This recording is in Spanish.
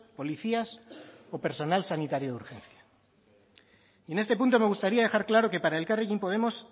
policías o personal sanitario de urgencias en este punto me gustaría dejar claro que para elkarrekin podemos